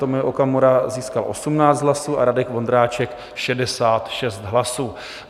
Tomio Okamura získal 18 hlasů a Radek Vondráček 66 hlasů.